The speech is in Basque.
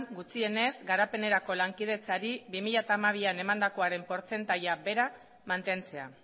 gutxienez garapenerako lankidetzari bi mila hamabian emandakoaren portzentaia bera mantentzea